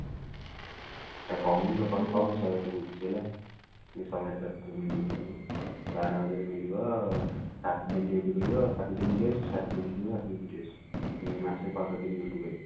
ତାକୁ କହୁନୁ ତାକୁ କହ ମୁଁ ତୋ ପାଇଁ ଶହେ ଆଠ ବୁଝୁଛି ହେଲା ଯଉ ଶହେ ଆଠ ମ ବାର ହଜାର ମିଳିବ ସାତ ଦିନ duty କରିବ ସାତ ଦିନ rest ସାତ ଦିନ ଯିବ ସାତ ଦିନ rest ମାସେ ରେ ପନ୍ଦର ଦିନ duty କରିବ